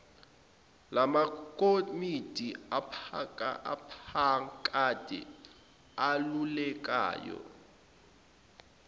lamakomidi aphakade elulekayo